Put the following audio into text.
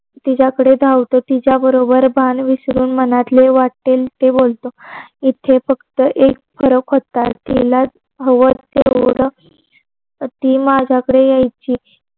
तिच्याकडे धावतो तिच्याबरोबर भान विसरून मनतले वाटेल ते बोलत. तिचे फक्त एक फरक होता. ती हव टेवढ माज्या कडे यायची.